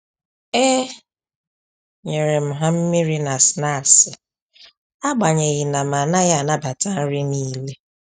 E nyerem ha mmiri na snaksi agbanyeghi na m-anaghị anabata nri n'ile